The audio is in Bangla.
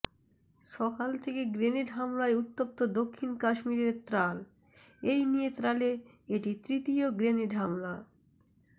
সকাল থেকে গ্রেনেড হামলায় উত্তপ্ত দক্ষিণ কাশ্মীরের ত্রাল এই নিয়ে ত্রালে এটি তৃতীয় গ্রেনেড হামলা